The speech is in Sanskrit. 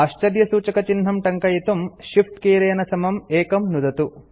आश्चर्यसूचकचिह्नं टङ्कयितुं Shift कीलेन समं 1 नुदतु